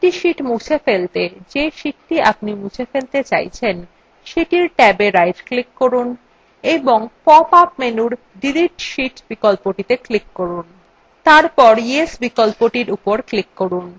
একটি sheets মুছে ফেলতে যে sheets আপনি মুছে ফেলতে চাইছেন সেটির ট্যাবএ right click করুন এবং pop up menu delete sheet বিকল্পটিত়ে click করুন তারপর yes বিকল্পর উপর click করুন